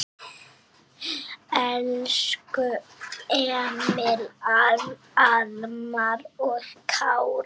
Elsku Emil, Alma og Kári.